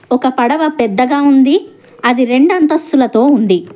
ఒక పడవ పెద్దగా ఉంది అది రెండంతస్తులతో ఉంది.